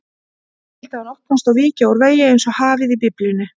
Skyldi hann opnast og víkja úr vegi einsog hafið í Biblíunni?